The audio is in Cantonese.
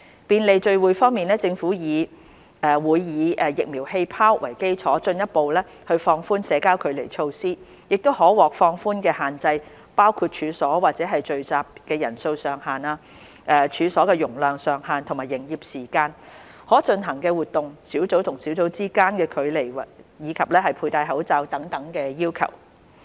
便利聚會政府會以"疫苗氣泡"為基礎，進一步放寬社交距離措施，可獲放寬的限制包括處所或聚集的人數上限、處所容量上限和營業時間、可進行的活動、小組與小組之間的距離及佩戴口罩等要求。